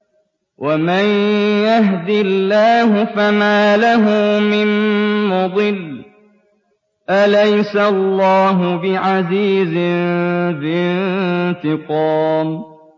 وَمَن يَهْدِ اللَّهُ فَمَا لَهُ مِن مُّضِلٍّ ۗ أَلَيْسَ اللَّهُ بِعَزِيزٍ ذِي انتِقَامٍ